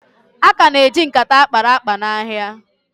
A ka na-eji nkata akpara akpa n'ahịa